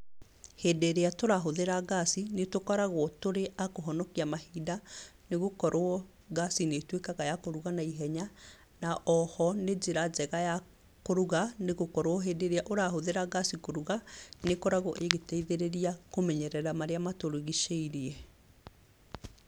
Hĩndĩ ĩrĩa tũrahũthĩra ngaci, nĩtũkoragwo tũrĩ a kũhonokia mahinda nĩgũkorwo ngaci nĩĩtuĩkaga ya kũruga naihenya na oho nĩ njĩra njega ya kũruga nĩgũkorwo hĩndĩ ĩrĩa ũrahũthĩra ngaci kũruga, nĩĩkoragwo ĩgĩteithĩrĩria kũmenyerera marĩa matũrigicĩirie.